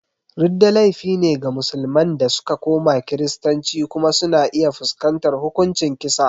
Ridda laifi ne ga musulman da suka koma Kiristanci kuma suna iya fuskantar hukuncin kisa.